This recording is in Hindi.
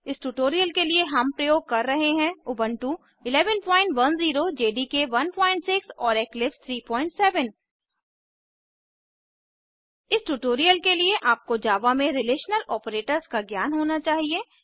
इस ट्यूटोरियल के लिए हम प्रयोग कर रहे हैं उबुंटू 1110 जेडीके 16 और इक्लिप्स 37 इस ट्यूटोरियल के लिए आपको जावा में रिलेशनल आपरेटर्स का ज्ञान होना चाहिए